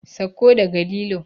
Sauko daga lilo!